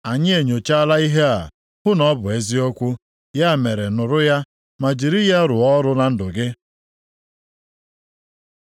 “Anyị enyochaala ihe a, hụ na ọ bụ eziokwu. Ya mere nụrụ ya, ma jiri ya rụọ ọrụ na ndụ gị.”